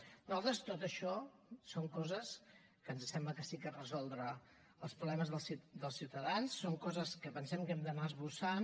a nosaltres tot això són coses que ens sembla que sí que és resoldre els problemes dels ciutadans són coses que pensem que hem d’anar esbossant